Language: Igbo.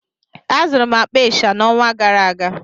Azụrụ m akpa ịsha n'ọnwa gara aga